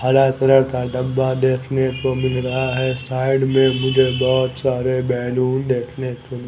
हरा कलर का डब्बा देखने को मिल रहा है साइड में मुझे बहुत सारे बैलून देखने को--